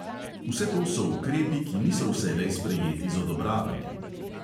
Vse to so ukrepi, ki niso vselej sprejeti z odobravanjem.